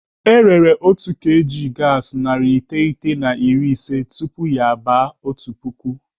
Erere otu kg gaasi narị iteghete na iri ise tupu ya aba otu puku.